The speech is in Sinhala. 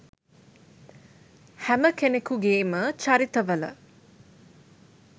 හැම කෙනෙකුගේම චරිත වල